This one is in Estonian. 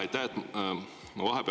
Aitäh!